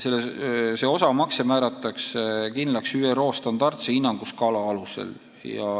See osamakse määratakse kindlaks ÜRO standardse hinnanguskaala alusel.